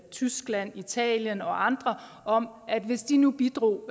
tyskland italien og andre om at hvis de nu bidrog